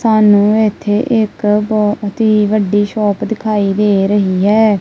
ਸਾਨੂੰ ਇੱਥੇ ਇੱਕ ਬਹੁਤ ਹੀ ਵੱਡੀ ਸ਼ੌਪ ਦਿਖਾਈ ਦੇ ਰਹੀ ਹੈ।